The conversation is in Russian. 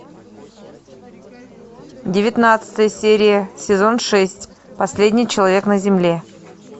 девятнадцатая серия сезон шесть последний человек на земле